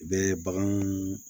U bɛ baganw